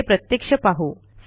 हे प्रत्यक्ष पाहू